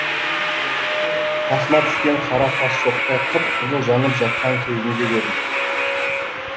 қасыма түскен қара тас шоқтай қып қызыл жанып жатқан кезінде көрдім